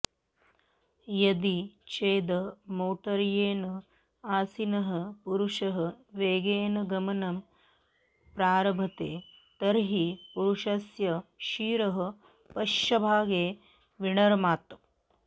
यदि चेद् मोटर्यने आसीनः पुरुषः वेगेन गमनं प्रारभते तर्हि पुरुषस्य शिरः पश्चभागे विनर्मात